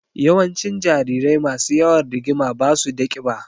Yawancin jarirai masu yawan rigima ba su da ƙiba.